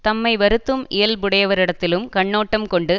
தம்மை வருத்தும் இயல்புடையவரிடத்திலும் கண்ணோட்டம் கொண்டு